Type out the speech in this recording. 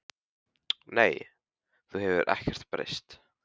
SÓLA: Nei, þú hefur ekkert breyst.